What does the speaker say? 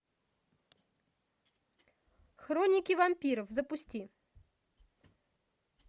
хроники вампиров запусти